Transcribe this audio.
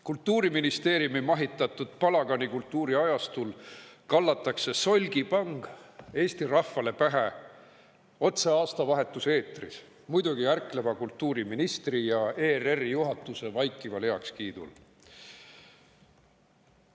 Kultuuriministeeriumi mahitatud palaganikultuuri ajastul kallatakse solgipang Eesti rahvale pähe otse aastavahetuse eetris, muidugi ärkleva kultuuriministri ja ERR‑i juhatuse vaikival heakskiidul.